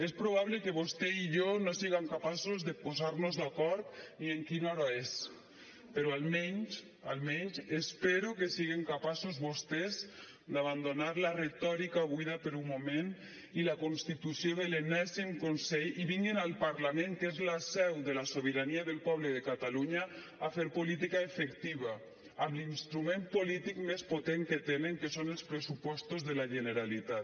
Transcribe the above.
és probable que vostè i jo no siguem capaços de posar nos d’acord ni en quina hora és però almenys almenys espero que siguen capaços vostès d’abandonar la retòrica buida per un moment i la constitució de l’enèsim consell i vinguin al parlament que és la seu de la sobirania del poble de catalunya a fer política efectiva amb l’instrument polític més potent que tenen que són els pressupostos de la generalitat